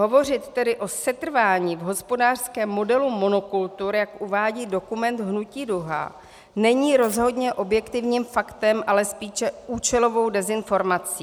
Hovořit tedy o setrvání v hospodářském modelu monokultur, jak uvádí dokument Hnutí Duha, není rozhodně objektivním faktem, ale spíše účelovou dezinformací.